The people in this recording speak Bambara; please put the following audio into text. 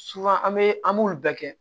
an bɛ an b'olu bɛɛ kɛ